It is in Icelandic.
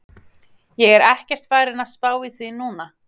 Ég er ekkert farinn að spá í því núna.